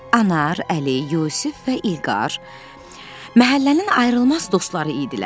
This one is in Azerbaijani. Anar, Əli, Yusif və İlqar məhəllənin ayrılmaz dostları idilər.